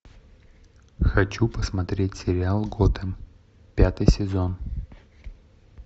хочу посмотреть сериал готэм пятый сезон